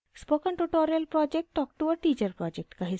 spoken tutorial project talk to a teacher project का हिस्सा है